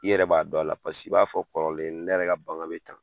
I yɛrɛ b'a don la paseke i b'a fɔ kɔrɔlen, n yɛrɛ ka bagan bɛ tan.